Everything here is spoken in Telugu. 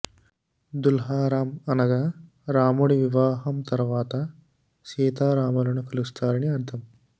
దుల్హా రామ్ అనగా రాముడి వివాహం తర్వాత సీతరాములను కొలుస్తారని అర్థం